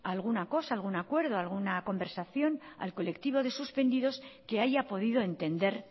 alguna cosa algún acuerdo alguna conversación al colectivo de suspendidos que haya podido entender